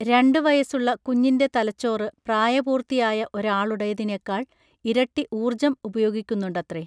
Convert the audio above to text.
രണ്ടു വയസുള്ള കുഞ്ഞിന്റെ തലച്ചോറ് പ്രായപൂർത്തിയായ ഒരാളുടേതിനേക്കാൾ ഇരട്ടി ഊർജം ഉപയോഗിക്കുന്നുണ്ടത്രെ